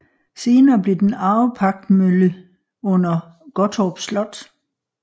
Senere blev den arvepagtemølle under Gottorp Slot